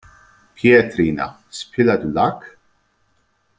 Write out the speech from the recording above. Pétrína, spilaðu lag.